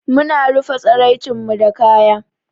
Mu na rufa tsaraicen mu da kaya.